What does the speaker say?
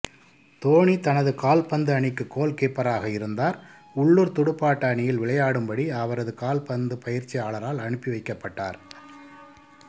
தோனி தனது கால்பந்து அணிக்கு கோல்கீப்பராக இருந்தார் உள்ளூர் துடுப்பாட்ட அணியில் விளையாடும்படி அவரது கால்பந்து பயிற்சியாளரால் அனுப்பிவைக்கப்பட்டார்